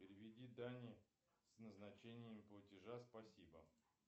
переведи дане с назначением платежа спасибо